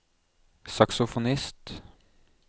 saksofonist